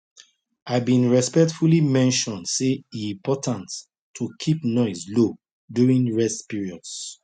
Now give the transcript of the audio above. i been respectfully mention say e important to keep noise low during rest periods